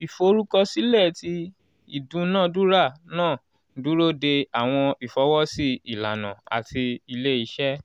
iforukọsilẹ ti idunadura naa n duro de awọn ifọwọsi ilana ati ile-iṣẹ.